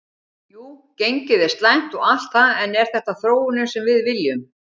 Jú gengið er slæmt og allt það en er þetta þróunin sem við viljum?